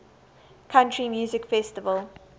country music festival